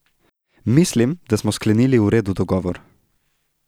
Mislim, da smo sklenili v redu dogovor.